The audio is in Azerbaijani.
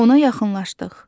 Ona yaxınlaşdıq.